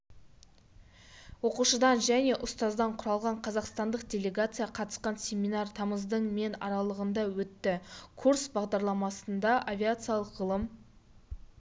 оқушыдан және ұстаздан құралған қазақстандық делегация қатысқан семинар тамыздың мен аралығында өтті курс бағдарламасында авиациялық ғылым